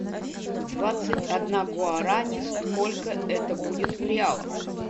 двадцать одна гуарани сколько это будет в реалах